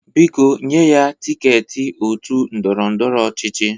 Biko nye ya tịketị otu ndọrọ ndọrọ ọchịchị!